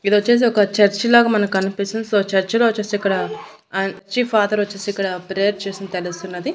ఇదొచ్చేసి ఒక చర్చి లాగా మనకనిపిస్తుంది సో చర్చ్ లో వచ్చేసి ఇక్కడ ఆ చి ఫాదరొచేసి ఇక్కడ ప్రేయర్ చేస్తున్న తెలుస్తున్నది.